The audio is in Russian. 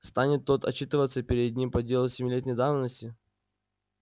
станет тот отчитываться перед ним по делу семилетней давности